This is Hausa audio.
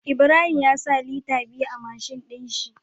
Ibrahim ya sa Liter biyu a mashin din shi